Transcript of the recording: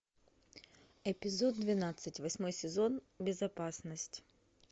эпизод двенадцать восьмой сезон безопасность